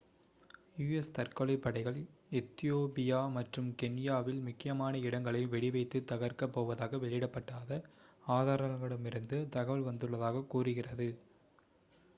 "u.s. தற்கொலைப் படைகள் Ethiopia மற்றும் கென்யாவில் "முக்கியமான இடங்களை" வெடி வைத்து தகர்க்கப் போவதாக வெளியிடப்படாத ஆதாரங்களிடமிருந்து தகவல் வந்துள்ளதாக கூறுகிறது.